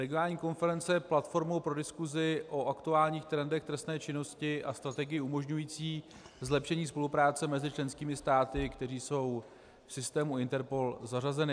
Regionální konference je platformou pro diskusi o aktuálních trendech trestné činnosti a strategii umožňující zlepšení spolupráce mezi členskými státy, které jsou v systému INTERPOL zařazeny.